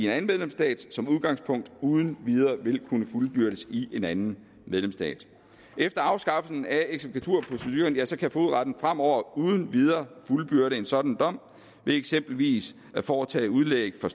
anden medlemsstat som udgangspunkt uden videre vil kunne fuldbyrdes i en anden medlemsstat efter afskaffelsen af eksekvaturproceduren kan fogedretten fremover uden videre fuldbyrde en sådan dom ved eksempelvis at foretage udlæg for